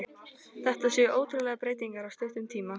Þetta séu ótrúlegar breytingar á stuttum tíma.